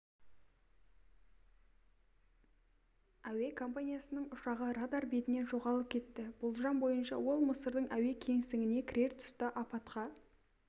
әуе компаниясының ұшағы радар бетінен жоғалып кетті болжам бойынша ол мысырдың әуе кеңістігіне кірер тұста апатқа